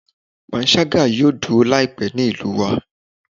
Panṣaga yoo duro laipe ni ilu yi